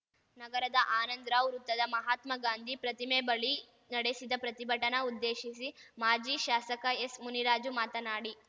ನಗರದ ಆನಂದ್ರಾವ್‌ ವೃತ್ತದ ಮಹಾತ್ಮ ಗಾಂಧಿ ಪ್ರತಿಮೆ ಬಳಿ ನಡೆಸಿದ ಪ್ರತಿಭಟನ ಉದ್ದೇಶಿಸಿ ಮಾಜಿ ಶಾಸಕ ಎಸ್‌ ಮುನಿರಾಜು ಮಾತನಾಡಿ